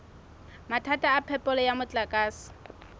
mathata a phepelo ya motlakase